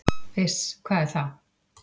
"""Iss, hvað er það?"""